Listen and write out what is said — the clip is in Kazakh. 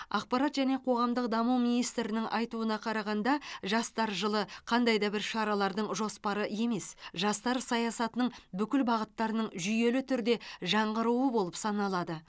ақпарат және қоғамдық даму министрінің айтуына қарағанда жастар жылы қандай да бір шаралардың жоспары емес жастар саясатының бүкіл бағыттарының жүйелі түрде жаңғыруы болып саналады